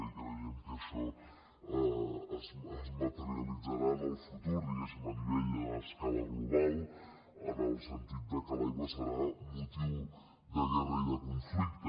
i creiem que això es materialitzarà en el futur diguem ne a escala global en el sentit que l’aigua serà motiu de guerra i de conflicte